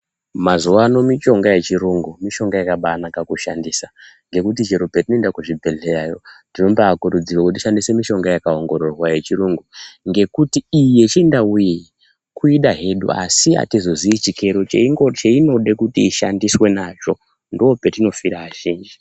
Mazuwano mishonga yechirungu mishonga yakabanaka kushandisa ngekuti chero petinoenda kuzvibhedhlerayo tinombaakurudzirwa kuti tishandise mishonga yakaongororwa yechirungu ngekuti iyi yechindau iyi kuida hedu asi atizozii chikero cheinoda kuti ishandiswe nacho ndopetinofira azhinji.